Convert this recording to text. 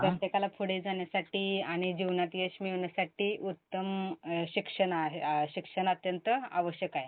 प्रत्येकाला पुढे जाण्यासाठी आणि जीवनात यश मिळवण्यासाठी उत्तम अं शिक्षण शिक्षण अत्यंत आवश्यक आहे.